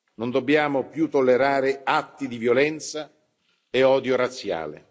Non dobbiamo più tollerare atti di violenza e odio razziale.